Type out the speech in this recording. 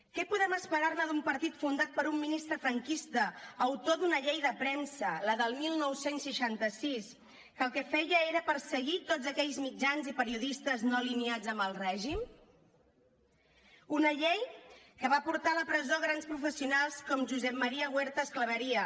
què podem esperar ne d’un partit fundat per un ministre franquista autor d’una llei de premsa la del dinou seixanta sis que el que feia era perseguir tots aquells mitjans i periodistes no alineats amb el règim una llei que va portar a la presó grans professionals com josep maría huertas clavería